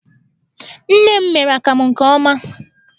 Nne m mere akamụ nke ọma.